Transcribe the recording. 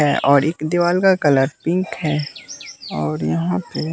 है और एक दीवार कलर पिंक है और यहां पे--